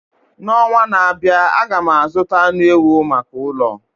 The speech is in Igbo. N'ọnwa na-abịa, aga m azụta anụ ewu maka ụlọ